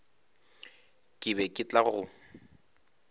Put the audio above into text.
ke be ke tla go